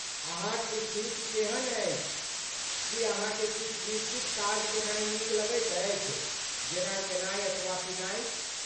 अहाँक स्थिति केहन अछि, की अहाँकेँ किछु निश्चित काज केनाइ नीक लगैत अछि, जेना खेनाइ अथवा पीनाइ?